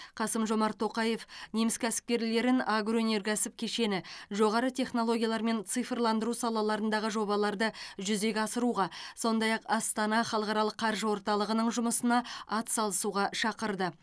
қасым жомарт тоқаев неміс кәсіпкерлерін агроөнеркәсіп кешені жоғары технологиялар мен цифрландыру салаларындағы жобаларды жүзеге асыруға сондай ақ астана халықаралық қаржы орталығының жұмысына атсалысуға шақырды